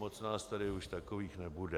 Moc nás tady už takových nebude.